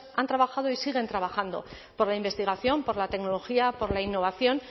han trabajado y siguen trabajando por la investigación por la tecnología por la innovación